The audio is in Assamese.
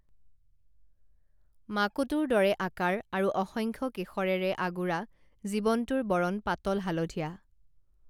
মাকোটোৰ দৰে আকাৰ আৰু অসংখ্য কেশৰেৰে আগুৰা জীৱটোৰ বৰণ পাতল হালধীয়া